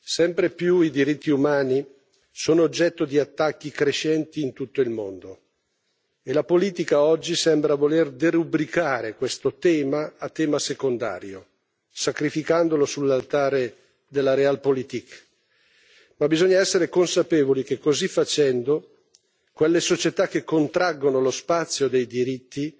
Sempre più spesso i diritti umani sono oggetto di attacchi crescenti in tutto il mondo e la politica, oggi, sembra voler derubricare questo tema a tema secondario, sacrificandolo sull'altare della realpolitik Ma bisogna essere consapevoli che, così facendo, quelle società che contraggono lo spazio dei diritti